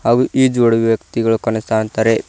ಹಾಗು ಈ ಜೋಡಿ ವ್ಯಕ್ತಿಗಳು ಕಣ್ಣಿ ಕಾಣ್ತಾರೆ.